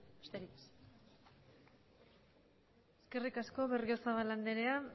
besterik ez eskerrik asko berriozabal andrea